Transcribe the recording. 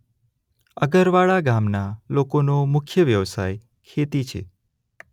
અગરવાડા ગામના લોકોનો મુખ્ય વ્યવસાય ખેતી છે.